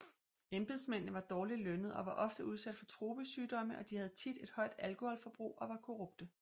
Embedsmændene var dårligt lønnet og var ofte udsat for tropesygdomme og de havde tit et højt alkoholforbrug og var korrupte